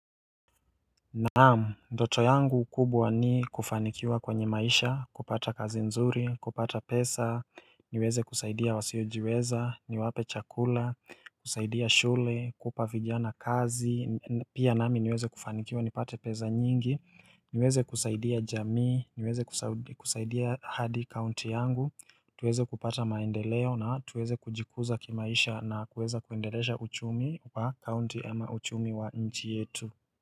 Naam, ndoto yangu kubwa ni kufanikiwa kwenye maisha, kupata kazi nzuri, kupata pesa, niweze kusaidia wasiojiweza, niwape chakula, kusaidia shule, kupa vijana kazi, pia nami niweze kufanikiwa nipate pesa nyingi, niweze kusaidia jamii, niweze kusaidia hadi county yangu, tuweze kupata maendeleo na tuweze kujikuza kimaisha na kuweza kuendelesha uchumi wa county ama uchumi wa nchi yetu.